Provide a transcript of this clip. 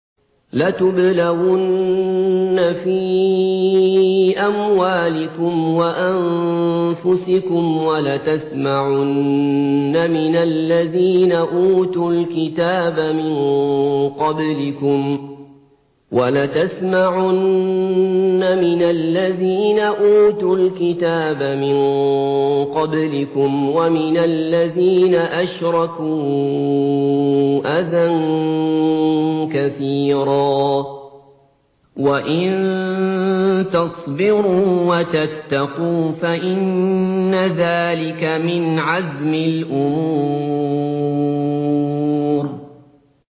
۞ لَتُبْلَوُنَّ فِي أَمْوَالِكُمْ وَأَنفُسِكُمْ وَلَتَسْمَعُنَّ مِنَ الَّذِينَ أُوتُوا الْكِتَابَ مِن قَبْلِكُمْ وَمِنَ الَّذِينَ أَشْرَكُوا أَذًى كَثِيرًا ۚ وَإِن تَصْبِرُوا وَتَتَّقُوا فَإِنَّ ذَٰلِكَ مِنْ عَزْمِ الْأُمُورِ